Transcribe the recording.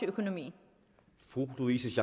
økonomien